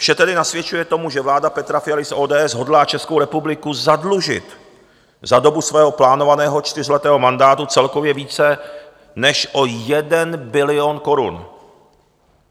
Vše tedy nasvědčuje tomu, že vláda Petra Fialy z ODS hodlá Českou republiku zadlužit za dobu svého plánovaného čtyřletého mandátu celkově více než o 1 bilion korun.